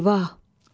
Eyvah!